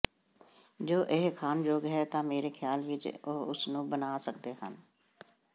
ਜੇ ਇਹ ਖਾਣਯੋਗ ਹੈ ਤਾਂ ਮੇਰੇ ਖ਼ਿਆਲ ਵਿਚ ਉਹ ਇਸ ਨੂੰ ਬਣਾ ਸਕਦੇ ਹਨ